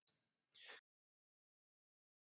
Hvað með mótorhjólið?